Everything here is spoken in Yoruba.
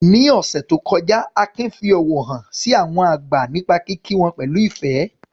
Ní ọ̀sẹ̀ tó kọjá, Akin fi ọ̀wọ̀ hàn sí àwọn àgbà nípa kíkí wọn pẹ̀lú ìfẹ́.